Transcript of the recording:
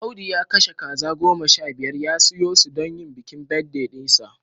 Audu ya kashe kaza goma sha biyar ya soya su don bikin birthday dinsa